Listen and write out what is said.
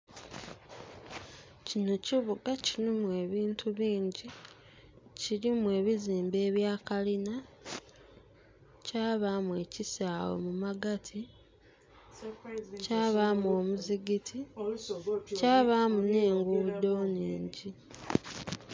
Kino kibuga kilimu ebintu bingi. Kilimu ebizimbe ebya kalina, kyabaamu ekisaawe mumagati, kyabaamu omuzigiti, kyabaamu n'enguudo nhingi.